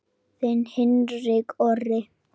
Þinn Hinrik Orri.